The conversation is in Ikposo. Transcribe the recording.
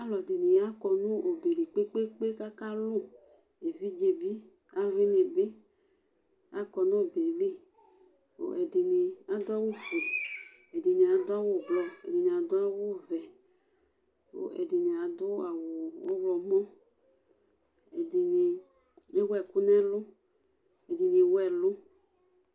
Alʋ ɛdɩnɩ akɔ nɔbɛ li kpekpekpe kaka lʋ; evidze bɩ alʋwɩnɩ bɩ akɔ nɔbɛliKʋ ɛdɩnɩ adʋ awʋ fue ɛdɩnɩ adʋ awʋ blɔ ɛdɩnɩ adʋ awʋ vɛ, kʋ ɛdɩnɩ adʋ awʋ ɔɣlɔmɔ, ɛdɩnɩ ewuɛkʋ nɛlʋ, ɛdɩnɩ ewuɛlʋ